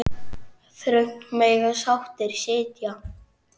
Þröngt mega sáttir sitja.